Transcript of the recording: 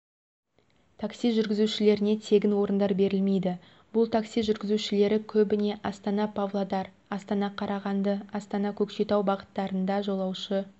такси жүргізушілеріне тегін орындар берілмейді бұл такси жүргізушілері көбіне астана-павлодар астана қарағанды астана-көкшетау бағыттарында жолаушы